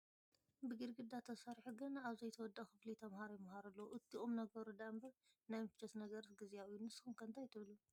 ብግዳግዳ ተሰሪሑ ገና ኣብ ዘይተወድአ ክፍሊ ተመሃሮ ይመሃሩ ኣለዉ፡፡ እቲ ቁም ነገሩ ደኣምበር ናይ ምቾት ነገርስ ግዚያዊ እዩ፡፡ ንስኹም ከ እንታይ ትብሉ?